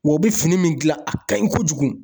Wa u bɛ fini min dilan, a ka ɲi kojugu.